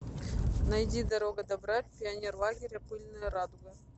найди дорога добра пионерлагеря пыльная радуга